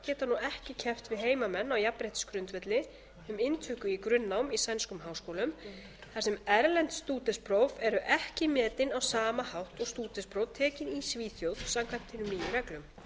geta nú ekki keppt við heimamenn á jafnréttisgrundvelli um inntöku í grunnnám í sænskum háskólum þar sem erlend stúdentspróf eru ekki metin á sama hátt og stúdentspróf tekin í svíþjóð samkvæmt hinum nýju reglum